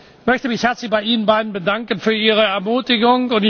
Ich möchte mich herzlich bei Ihnen beiden bedanken für Ihre Ermutigung.